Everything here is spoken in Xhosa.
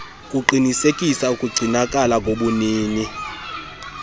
kuqinisekisa ukugcinakala kobunini